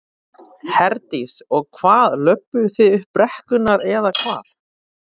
Herdís: Og hvað, löbbuðu þið upp brekkurnar eða hvað?